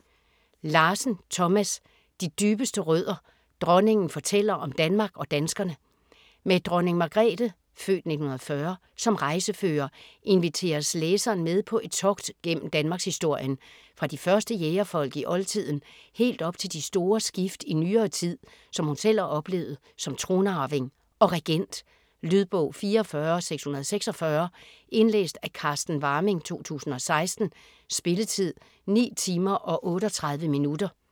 Larsen, Thomas: De dybeste rødder: dronningen fortæller om Danmark og danskerne Med Dronning Margrethe (f. 1940) som rejsefører inviteres læseren med på et togt gennem danmarkshistorien - fra de første jægerfolk i oldtiden helt op til de store skift i nyere tid, som hun selv har oplevet som tronarving og regent. Lydbog 44646 Indlæst af Carsten Warming, 2016. Spilletid: 9 timer, 38 minutter.